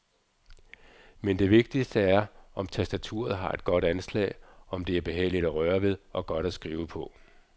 Men det vigtigste er, om tastaturet har et godt anslag, om det er behageligt at røre ved og godt at skrive på.